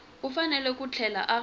u fanele ku tlhela a